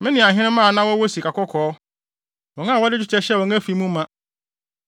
me ne ahenemma a na wɔwɔ sika kɔkɔɔ, wɔn a wɔde dwetɛ hyɛɛ wɔn afi mu ma.